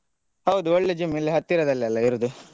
ಹೌದು ಒಳ್ಳೇದು gym ಇಲ್ಲೆ ಹತ್ತಿರದಲ್ಲಿ ಅಲ್ಲಾ ಇರುದು.